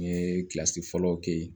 N ye kilasi fɔlɔ kɛ yen